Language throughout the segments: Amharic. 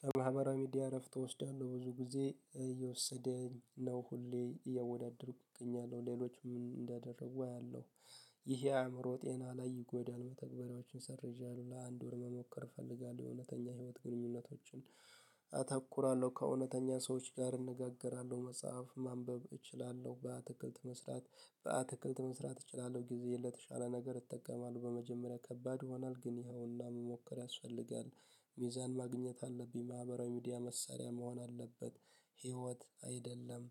ከማህበራዊ ሚዲያ እረፍት እወስዳለሁ ብዙ ጊዜ እየወሰደኝ ነው ሁሌ እያወዳደርኩኝ እገኛለሁ ሌሎችም እንደደረጉ አያለሁ ይሄ አእምሮ ጤና ላይ ይጎዳል። መተግበሪያዎችን ሰርዣሉ ለአንድ ወር መሞከር እፈልጋለሁ የእውነተኛ ህይወት ግንኙነቶችን። አተኩራለሁ ከእውነተኛ ሰዎች ጋር እነጋገራለሁ መጽሐፍ ማንበብ እችላለሁ በአትክልት መስራት በአትክልት መስራት እችላለሁ። ጊዜ የለተሻለ ነገር ይጠቀማሉሁ በመጀመሪያ ከባድ ይሆናል ግን ይኸውና መሞከር ያስፈልጋል። ሚዛን ማግኘት አለብኝ ማህበራዊ ሚዲያ መሳሪያ መሆን አለበት ህይወት አይደለም።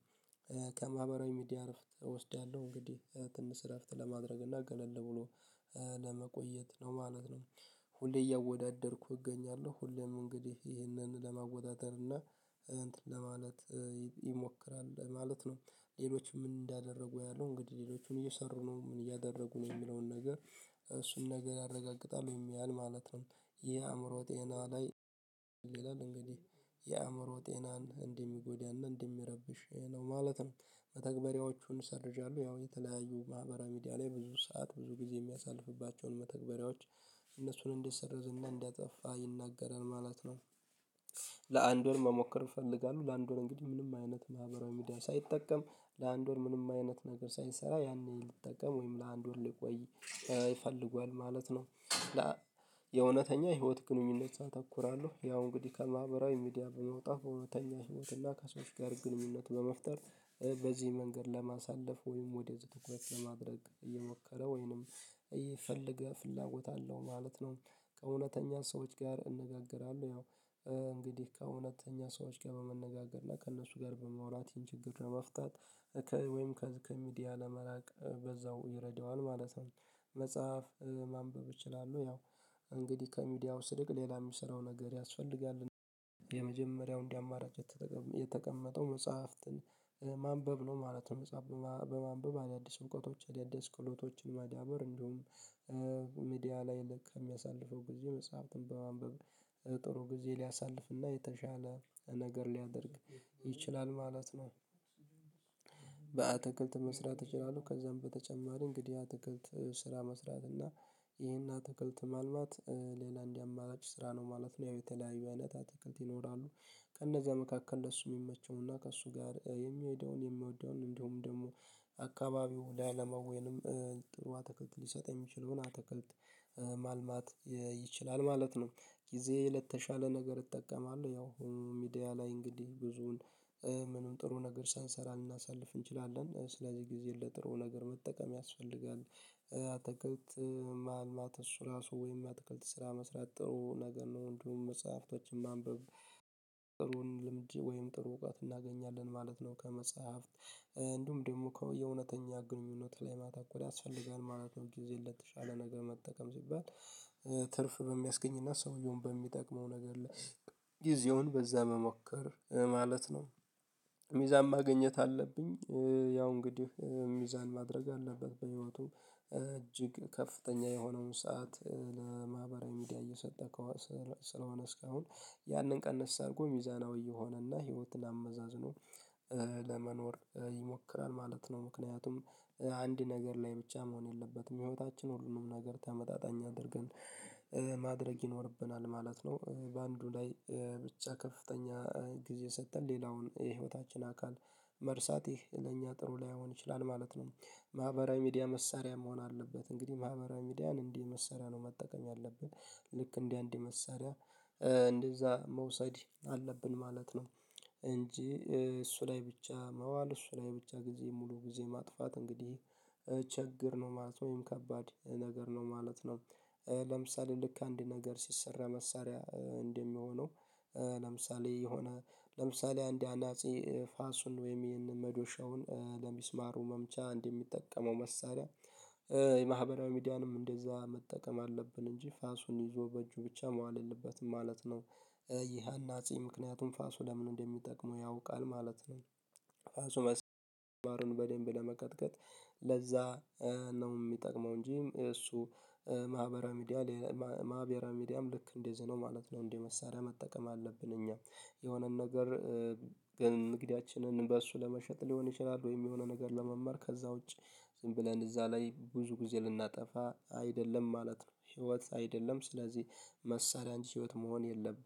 ከማህበራዊ ሚዲያ እርፍት እወስዳለሁ እንግዲህ ትንሽ እረፍት ለማድረግ እና ገለል ብሎ ለመቆየት ነው ማለት ነው። ሁሌ እያወዳደርኩ እገኛለሁ ሁሌም እንግዲህ ይሄንን ለማወዳደር እና ለማለት ይሞክራል ማለት ነው። ሌሎች ምን እንዳደረጉ ያሉ እንግዲህ ሌሎቹን እየሰሩ ነው ምን እያደረጉ ነው የሚለውን ነገር እሱን ነገር አረጋግጣለሁ ወይም ያያል ማለት ነው። ይሄ የአእምሮ ጤና ላይ ይላል እንግዲህ የአእምሮ ጤናን እንደ ሚጎዳና እንደ ሚረብሽ ነው። ማለትም መተግበሪያዎቹን ሰርጃለሁ ያው የተለያዩ ማህበራዊ ሚዲያ ላይ ብዙ ሰዓት ብዙ ጊዜ የሚያሳልፍባቸውን መተግበሪያዎች እነሱን እንደሰርዘና እንዳጠፋ ይናገራል ማለት ነው። ለአንድ ወር መሞከር እፈልጋለሁ ለአንድ ወር እንግዲህ ምንም አይነት ማህበራዊ ሚዲያ ሳይጠቀም ለአንድ ወር ምንም አይነት ነገር ሳይሰራ ያኔ ልጠቀም ወይም ለአንድ ወር ሊቆይ ይፈልጓል ማለት ነው። የእውነተኛ የህይወት ግንኙነት አተኩራለሁ ያው እንግዲህ ከማህበራዊ ሚዲያ በመውጣት በእውነተኛ ህይወትና ከሰዎች ጋር ግንኙነት በመፍጠር በዚህ መንገድ ለማሳለፍ ወይም ወደ ትኩረት ለማድረግ እየሞከረ ወይንም ይፈልገህ ፍላጎት አለው ማለት ነው። ከእውነተኛ ሰዎች ጋር እንነጋገራለሁ ያው እንግዲህ ከእውነተኛ ሰዎች ጋር በመነጋገር ላይ ከእነሱ ጋር በማውራት ይህን ችግር ለመፍታት ወይም ከሚዲያ ለመላቅ በዛው ይረዳዋል ማለት ነው። መጽሐፍ ማንበብ ይችላሉ ያው እንግዲህ ከሚዲያው ስርቅ ሌላ የሚሰራው ነገር ያስፈልጋል። የመጀመሪያው እንዳማራጭ የተቀመጠው መጽሐፍትን ማንበብ ነው ማለት ነው መጽሐፍ በማንበብ አዳዲስ እውቀቶች አዳዲስ ክህሎቶችን ማዳበር እንዲሁም ሚዲያ ላይ ልክ ከሚያሳልፈው ጊዜ መጽሐፍትን በማንበብ ጥሩ ጊዜ ሊያሳልፍና የተሻለ ነገር ሊያደርግ ይችላል ማለት ነው። በአትክልት መስራት እችላለሁ ከዛም በተጨማሪ እንግዲህ አትክልት ስራ መስራት እና ይሄን አትክልት ማልማት ሌላ እንዳማራጭ ስራ ነው ማለት ነው ያው የተለያዩ አይነት አትክልት ይኖራሉ። ከእነዚያ መካከል ለሱ የሚመቸውና ከእሱ ጋር የሚሄደውን የሚወደውን እንዲሁም ደግሞ አካባቢው ላይ ለማዌንም ጥሩ አትክልት ሊሰጥ የሚችለውን አትክልት ማልማት ይችላል ማለት ነው። ጊዜ ለተሻለ ነገር እጠቀማለሁ ያው ሚዲያ ላይ እንግዲህ ብዙን ምንም ጥሩ ነገር ሳንሰራ ልናሳልፍ እንችላለን ስለዚህ ጊዜ ለጥሩ ነገር መጠቀም ያስፈልጋል። አታክልት ማልማት እሱ ራሱ ወይም አትክልት ስራ መስራት ጥሩ ነገር ነው እንዲሁም መጽሐፍቶችን ማንበብ ጥሩን ልምድ ወይም ጥሩ እውቀት እናገኛለን ማለት ነው። ከመጽሐፍት እንዲሁም ደግሞ ከየእውነተኛ ግንኙነት ላይ ማታኮር ሊያስፈልገን ማለት ነው ጊዜ ለተሻለ ነገር መጠቀም ሲባል ትርፍ በሚያስገኝና ሰውየውን በሚጠቅመው ነገር ላይ ጊዜውን በዛ መሞከር ማለት ነው። ሚዛን ማግኘት አለብኝ። ያው እንግዲህ ሚዛን ማድረግ አለበት በህይወቱ እጅግ ከፍተኛ የሆነውን ሰዓት ለማህበራዊ ሚዲያ እየሰጠህ ስለሆነ እስካሁን ያንን ቀንስ አድርጎ ሚዛናዊ የሆነና ህይወትን አመዛዝኖ በመኖር ይሞክራል ማለት ነው። ምክንያቱም አንድ ነገር ላይ ብቻ መሆን የለበትም ህይወታችን ሁሉንም ነገር ተመጣጣኝ አድርገን ማድረግ ይኖርብናል ማለት ነው። በአንዱ ላይ ብቻ ከፍተኛ ጊዜ ሰጠን ሌላውን የህይወታችን አካል መርሳቴ ለእኛ ጥሩ ላይሆን ይችላል ማለት ነው። ማህበራዊ ሚዲያ መሳሪያ መሆን አለበት እንግዲህ ማህበራዊ ሚዲያን እንዴ መሳሪያ ነው መጠቀም ያለብን። ልክ እንደ አንድ መሳሪያ እንደዛ መውሰድ አለብን ማለት ነው። እንጂ እሱ ላይ ብቻ መዋል እሱ ላይ ብቻ ጊዜ ሙሉ ጊዜ ማጥፋት እንግዲህ ችግር ነው ማለት ወይም ከባድ ነገር ነው ማለት ነው። ለምሳሌ ልክ አንድ ነገር ሲሰራ መሳሪያ እንደሚሆነው ለምሳሌ የሆነ ለምሳሌ አንድ ያናጺ ፋሱን ወይም ይሄንን መዶሻውን ለሚስማሩ መምቻ እንደሚጠቀመው መሳሪያ ማህበራዊ ሚዲያንም እንደዛ መጠቀም አለብን እንጂ ፋሱን ይዞ በእጁ ብቻ መዋል የለበትም ማለት ነው። ይህ አናጺ ምክንያቱም ፋሱ ለምን እንደሚጠቅመው ያውቃል ማለት ነው። ፋሱ ሚስማሩን በደንብ ለመቀጥቀጥ ለዛ ነው የሚጠቅመው እንጂ እሱ ማህበርዊ ሚዲያ ማህበራዊ ሚዲያም ልክ እንደዚህ ነው ማለት ነው። እንዴ መሳሪያ መጠቀም አለብን እኛ የሆነን ነገር ግን ንግዲያችንን በእሱ ለመሸጥ ሊሆን ይችላል ወይም የሆነ ነገር ለመማር ከዛ ውጪ ዝም ብለን እዛ ላይ ብዙ ጊዜ ልናጠፋ አይደለም ማለት ነው። ህይወት አይደለም ስለዚህ መሳሪያጂ ህይወት መሆን የለበትም